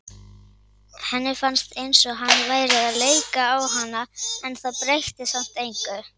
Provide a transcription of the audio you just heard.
Henni fannst eins og hann væri að leika á hana en það breytti samt engu.